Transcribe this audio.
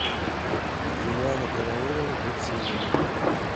юлианна караулова быть сильными